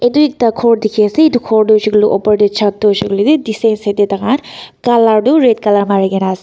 tuii ta khor teki ase eto khor toh hoishi koile toh opor teh chet toh hoishikoilebe distance toh taikan colour toh red colour marikina ase.